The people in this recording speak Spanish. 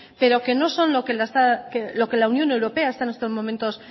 pero que no son lo que la unión europea está en estos momentos